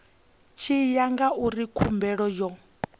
tshi ya ngauri khumbelo yo